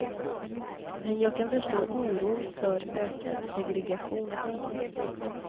Men jag kan förstå oron för ökad segregation.